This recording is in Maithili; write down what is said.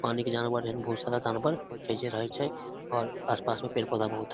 पानी के जानवर एहेन बहुत सारा जानवर होय छै जे रहय छै और आस-पास मे पेड़-पौधा बहुत हेय।